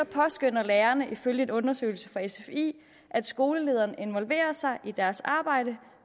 påskønner lærerne ifølge en undersøgelse fra sfi at skolelederen involverer sig i deres arbejde